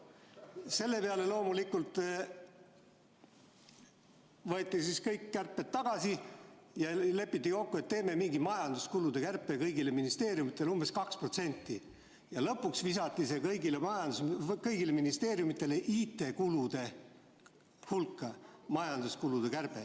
Selle peale loomulikult võeti kõik kärped tagasi ja lepiti kokku, et teeme mingi majanduskulude kärpe, kõigile ministeeriumidele umbes 2%, ja lõpuks visatigi see majanduskulude kärbe kõigi ministeeriumide IT-kulude hulka.